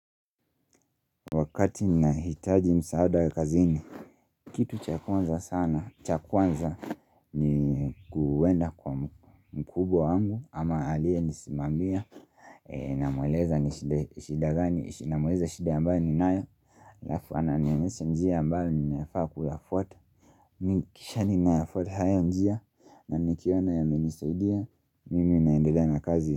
Wakati ninahitaji msaada ya kazini Kitu cha kwanza sana cha kwanza ni kuwenda kwa mkubwa wangu ama aliye nisimamia namueleza ni shida gani namueleza shida ambayo ninayo Alafu ananionyesha njia ambayo ninayofaa kuyafwata mi kisha ninafwata haya njia na nikiona yamenisaidia mimi naendelea na kazi.